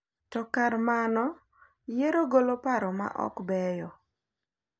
To kar mano, yiero golo paro ma ok beyo .